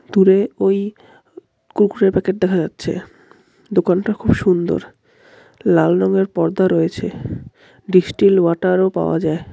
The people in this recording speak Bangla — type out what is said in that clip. দূরে ওই কুরকুরে -র প্যাকেট দেখা যাচ্ছে দোকানটা খুব সুন্দর লাল রঙের পর্দা রয়েছে ডিসটিল ওয়াটার -ও পাওয়া যায়।